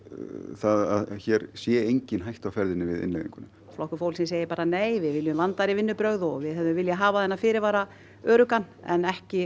það að hér sé engin hætta á ferðinni við innleiðinguna flokkur fólksins segir bara nei við viljum vandaðri vinnubrögð og við hefðum viljað hafa þennan fyrirvara öruggan en ekki